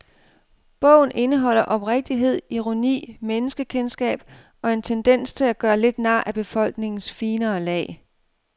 Bogen indeholder oprigtighed, ironi, menneskekendskab og en tendens til at gøre lidt nar af befolkningens finere lag.